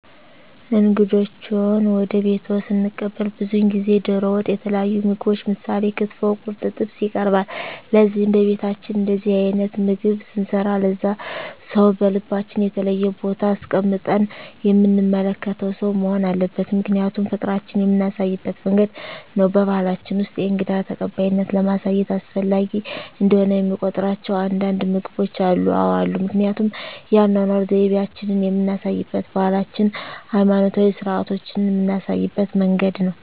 እንግዶችዎን ወደ ቤትዎ ስንቀበል ብዙውን ጊዜ ደሮ ወጥ የተለያዩ ምግቦች ምሳሌ ክትፎ ቁርጥ ጥብስ ይቀርባል ለዚህም በቤታችን እንደዚህ አይነት ምግብ ስንሰራ ለዛ ሰው በልባችን የተለየ ቦታ አስቀምጠን የምንመለከተው ሰው መሆን አለበት ምክንያቱም ፍቅራችን የምናሳይበት መንገድ ነው በባሕላችን ውስጥ የእንግዳ ተቀባይነትን ለማሳየት አስፈላጊ እንደሆነ የሚቆጥሯቸው አንዳንድ ምግቦች አሉ? አዎ አሉ ምክንያቱም የአኗኗር ዘይቤአችንን የምናሳይበት ባህላችንን ሀይማኖታዊ ስርአቶቻችንን ምናሳይበት መንገድ ነው